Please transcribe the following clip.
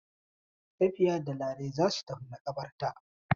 Safiya da Larai za su tafi maƙabarta.